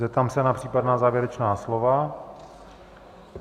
Zeptám se na případná závěrečná slova.